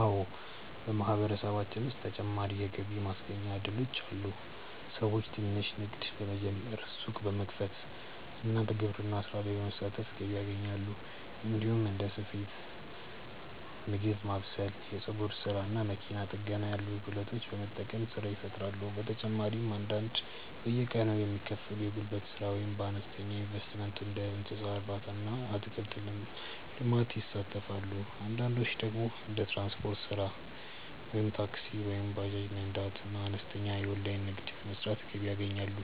አዎ፣ በማህበረሰባችን ውስጥ ተጨማሪ የገቢ ማስገኛ እድሎች አሉ። ሰዎች ትንሽ ንግድ በመጀመር፣ ሱቅ በመክፈት እና በግብርና ስራ በመሳተፍ ገቢ ያገኛሉ። እንዲሁም እንደ ስፌት፣ ምግብ ማብሰል፣ የፀጉር ስራ እና መኪና ጥገና ያሉ ክህሎቶችን በመጠቀም ስራ ይፈጥራሉ። በተጨማሪም አንዳንዶች በየቀኑ የሚከፈል የጉልበት ስራ ወይም በአነስተኛ ኢንቨስትመንት እንደ እንስሳ እርባታ እና አትክልት ልማት ይሳተፋሉ። አንዳንዶች ደግሞ እንደ ትራንስፖርት ስራ (ታክሲ ወይም ባጃጅ መንዳት) እና አነስተኛ የኦንላይን ንግድ በመስራት ገቢ ያገኛሉ።